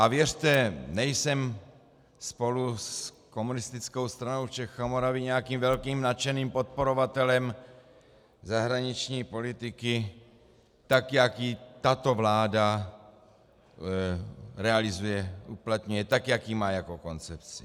A věřte, nejsem spolu s Komunistickou stranou Čech a Moravy nějakým velkým nadšeným podporovatelem zahraniční politiky, tak jak ji tato vláda realizuje, uplatňuje, tak jak ji má jako koncepci.